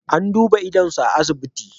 An duba idonsa a asibiti.